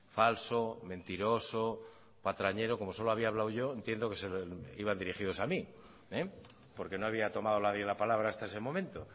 falso mentiroso patrañero como solo había hablado yo entiendo que iban dirigidos a mí porque no había tomado nadie la palabra hasta ese momento